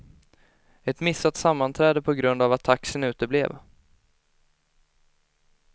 Ett missat sammanträde på grund av att taxin uteblev.